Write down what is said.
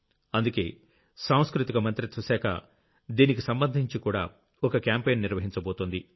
అందుకే సాంస్కృతిక మంత్రిత్వ శాఖ దీనికి సంబంధించి కూడా ఓ క్యాంపెయిన్ నిర్వహించబోతోంది